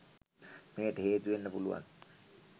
මෙයට හේතු වෙන්න පුළුවන්.